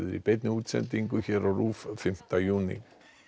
í beinni útsendingu hér á RÚV fimmta júní